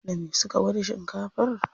Da me suka gwada shinkafar?